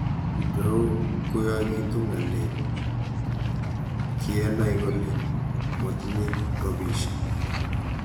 Kitou kiyakituu ng'alek kiyenai kole motinye robishe.